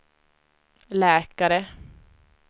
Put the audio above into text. läkare